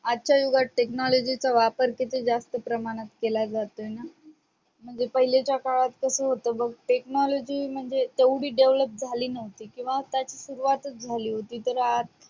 आजच्या युगात technology चा वापर किती जास्त प्रमाणात केला जातोय ना म्हणजे पहिल्याच्या काळात कस होत बघ technology म्हणजे तेवढी develop झाली नव्हती किंवा त्याची सुरुवात झाली नव्हती.